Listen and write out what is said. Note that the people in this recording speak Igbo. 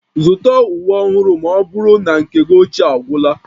Zụta uwe ọhụrụ ma ọ bụrụ na nke gị ochie agwụla